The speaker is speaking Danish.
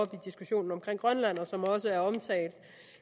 diskussionen om grønland og som også er omtalt